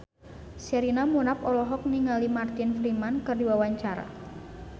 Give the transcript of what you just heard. Sherina Munaf olohok ningali Martin Freeman keur diwawancara